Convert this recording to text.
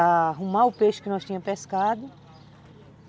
arrumar o peixe que nós tínhamos pescado.